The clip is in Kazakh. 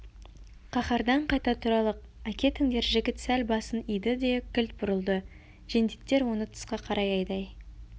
қаһардан қайта тұралық әкетіңдер жігіт сәл басын иді де кілт бұрылды жендеттер оны тысқа қарай айдай